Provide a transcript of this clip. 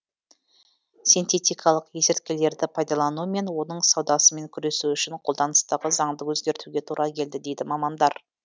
синтетикалық есірткілерді пайдалану мен оның саудасымен күресу үшін қолданыстағы заңды өзгертуге тура келді дейді мамандар